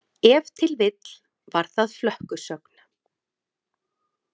Ef til vill var það flökkusögn.